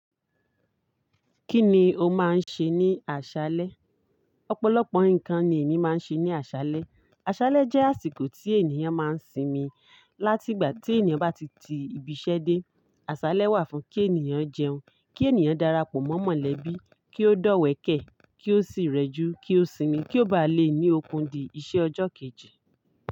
Kí ni o máa ń ṣe ní àṣálẹ́? Ọ̀pọ̀lọpọ̀ nǹkan ni èmi máa ń ṣe ní àṣálẹ́. Àṣálẹ́ jẹ́ àsìkò tí ènìyàn máa ń sinmi. Látìgbà tí ènìyàn bá ti ti ibi iṣẹ́ dé, àṣálẹ́ wà fún kí ènìyàn jẹun, kí ènìyàn darapọ̀ mọ́ mọ̀lẹ́bí, kí ó dọ́wẹ̀kẹ̀, kí ó sì rẹjú, kí ó sinmi kí ó ba lè ní okùn di iṣẹ́ ọjọ́ kejì.